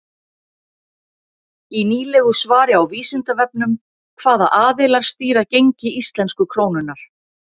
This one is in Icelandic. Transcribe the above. Í nýlegu svari á Vísindavefnum Hvaða aðilar stýra gengi íslensku krónunnar?